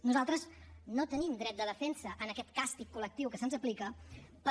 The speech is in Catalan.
nosaltres no tenim dret de defensa en aquest càstig col·lectiu que se’ns aplica per